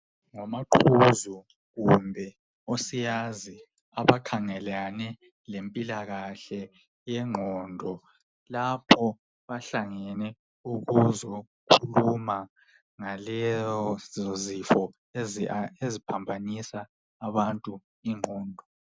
Ngomaqhuzu kumbe osiyazi abakhangelane lempilakahle yengqindo. Lapho bahlanganele ukuzokhuluma ngalezo zifo eziphambanisa abantu ingqondo.